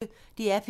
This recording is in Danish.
DR P1